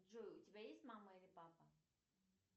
джой у тебя есть мама или папа